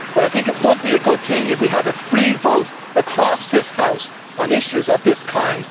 I think it would be a good thing if we had a free vote across this House on issues of this kind.